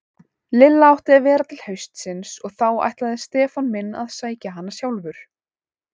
Lilla átti að vera til haustsins og þá ætlaði Stefán minn að sækja hana sjálfur.